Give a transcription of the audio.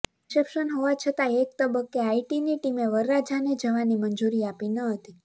reception હોવાછતાં એક તબક્કે આઇટીની ટીમે વરરાજાને જવાની મંજૂરી આપી ન હતી